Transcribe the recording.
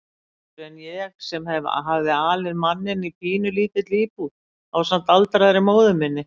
Betur en ég sem hafði alið manninn í pínulítilli íbúð ásamt aldraðri móður minni.